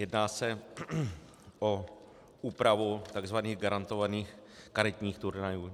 Jedná se o úpravu tzv. garantovaných karetních turnajů.